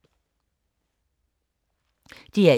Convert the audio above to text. DR1